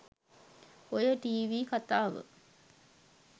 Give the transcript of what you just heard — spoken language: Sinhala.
ඔය ටීවී කතාව